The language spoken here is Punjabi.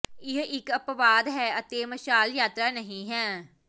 ਇਹ ਇੱਕ ਅਪਵਾਦ ਹੈ ਅਤੇ ਮਸ਼ਾਲ ਯਾਤਰਾ ਨਹੀ ਹੈ